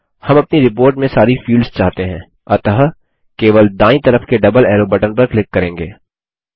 हम अपनी रिपोर्ट में सारी फील्ड्स चाहते हैं अतः केवल दायीं तरफ के डबल एरो बटन पर क्लिक करेंगे